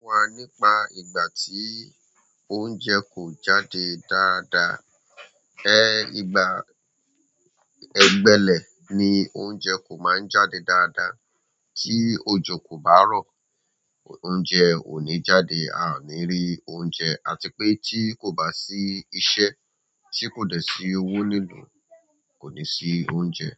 Fún wa nípa ìgbà tí oúnjẹ kò jáde dáadáa. Ẹ, ìgbà ẹ̀gbẹlẹ̀ ni oúnjẹ kò máa ń jáde dáadáa. Tí òjò kò bá rọ̀, oúnjẹ ò ní jáde, a ò ní rí oúnjẹ àti pé tí kò bá sí iṣẹ́ tí kò dẹ̀ sí owó ní ìlú kò ní sí oúnjẹ.